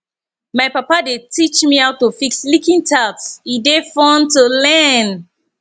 my papa dey teach me how to fix leaking taps e dey fun to learn